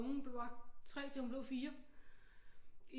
Ungen var 3 til hun blev 4